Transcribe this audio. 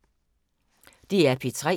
DR P3